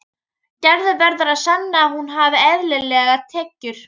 Gerður verður að sanna að hún hafi eðlilegar tekjur.